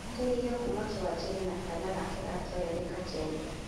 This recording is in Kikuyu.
Ateithirio kuuma kĩwanjainĩ na kanya gake gakĩũywo nĩ Kajei